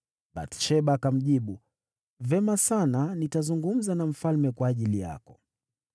Bathsheba akamjibu, “Vema sana, nitazungumza na mfalme kwa ajili yako.”